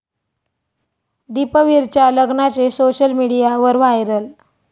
दीपवीरच्या लग्नाचे सोशल मीडियावर व्हायरल